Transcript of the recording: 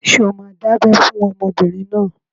Ṣé o máa dábẹ́ fún ọmọbìnrin náà?